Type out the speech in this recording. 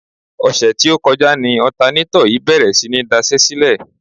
Ọ̀sẹ̀ tí ó kọjá ni ọ̀tanátọ̀ yìí bèrè sí ní daṣẹ́sílẹ̀.